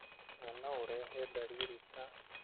na no ũrehe dariri ta